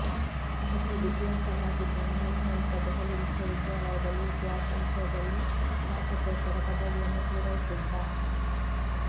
ಅತೀ ಬುದ್ಧಿವಂತನಾಗಿದ್ದ ನನ್ನ ಸ್ನೇಹಿತ ದೆಹಲಿ ವಿಶ್ವವಿದ್ಯಾಲಯದಲ್ಲಿ ಇತಿಹಾಸ ವಿಷಯದಲ್ಲಿ ಸ್ನಾತಕೋತ್ತರ ಪದವಿಯನ್ನು ಪೂರೈಸಿದ್ದ